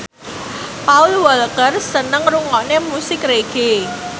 Paul Walker seneng ngrungokne musik reggae